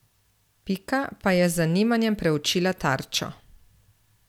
Pika pa je z zanimanjem preučila tarčo.